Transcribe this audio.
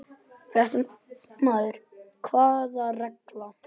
Fréttamaður: Hvaða regla?